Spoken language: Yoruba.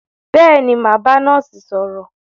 Bẹ́ẹ̀ni, mà á bá nọ́ọ́sì sọ̀rọ̀.